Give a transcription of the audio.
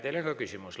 Teile on ka küsimusi.